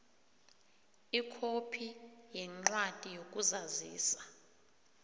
ikhophi yencwadi yokuzazisa